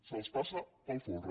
se’ls passa pel folre